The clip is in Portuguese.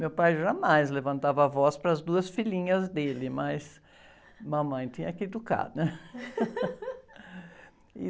Meu pai jamais levantava a voz para as duas filhinhas dele, mas mamãe tinha que educar, né?